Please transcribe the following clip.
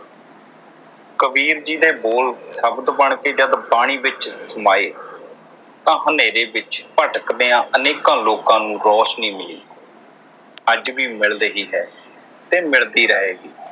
ਕਬੀਰ ਜੀ ਦੇ ਬੋਲ ਸ਼ਬਦ ਬਣ ਕੇ ਜਦ ਬਾਣੀ ਵਿਚ ਸਮਾਏ ਤਾਂ ਹਨੇਰੇ ਵਿਚ ਭਟਕਦਿਆਂ ਅਨੇਕਾਂ ਲੋਕਾਂ ਨੂੰ ਰੋਸ਼ਨੀ ਮਿਲੀ । ਅੱਜ ਵੀ ਮਿਲ ਰਹੀ ਹੈ ਤੇ ਮਿਲਦੀ ਰਹੇਗੀ।